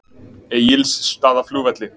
Egilsstaðaflugvelli